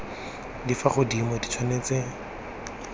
di fa godimo di tshwanetse